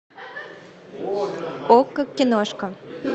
окко киношка